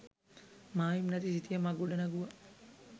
මායිම් නැති සිතියමක් ගොඩනැගුවා.